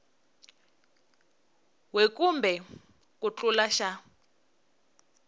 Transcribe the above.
we kumbe ku tlula xa